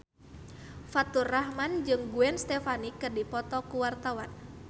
Faturrahman jeung Gwen Stefani keur dipoto ku wartawan